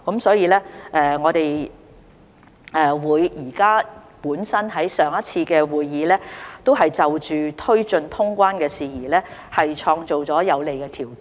所以，我們在上一次會議已就推進通關的事宜創造了有利條件。